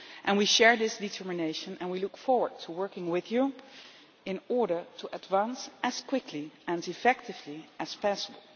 We share this determination and we look forward to working with you in order to advance as quickly and effectively as possible.